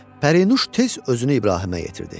Pərinuş tez özünü İbrahimə yetirdi.